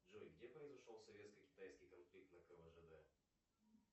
джой где произошел советско китайский конфликт на квжд